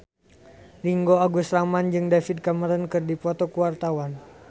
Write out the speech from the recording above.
Ringgo Agus Rahman jeung David Cameron keur dipoto ku wartawan